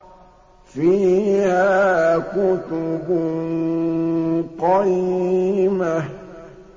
فِيهَا كُتُبٌ قَيِّمَةٌ